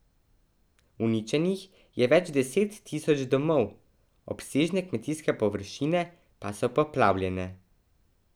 Uničenih je več deset tisoč domov, obsežne kmetijske površine pa so poplavljene.